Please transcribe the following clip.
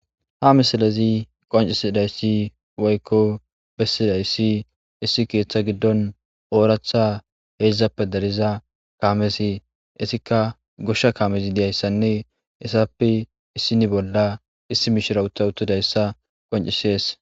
Ha misilezi qonccisidayssi woykko bessizayssi issi keeththa giddon ooratha heedzdzappe dariza kaamesi eetikka goshsha kaame dizayssanne hessappe issini bolla issi mishira utta uttidayssa qonccisees.